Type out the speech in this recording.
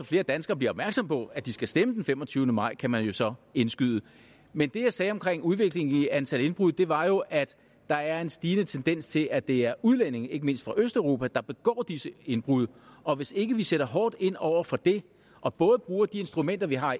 flere danskere bliver opmærksomme på at de skal stemme den femogtyvende maj kan man jo så indskyde men det jeg sagde om udviklingen i antal indbrud var jo at der er en stigende tendens til at det er udlændinge ikke mindst fra østeuropa der begår disse indbrud og hvis ikke vi sætter hårdt ind over for det og både bruger de instrumenter vi har